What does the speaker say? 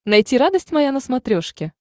найти радость моя на смотрешке